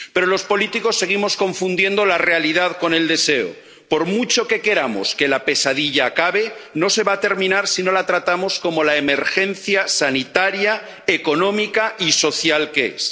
Pero los políticos seguimos confundiendo la realidad con el deseo por mucho que queramos que la pesadilla acabe, no se va a terminar si no la tratamos como la emergencia sanitaria, económica y social que es.